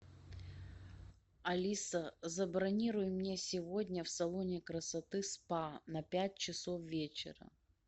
алиса забронируй мне сегодня в салоне красоты спа на пять часов вечера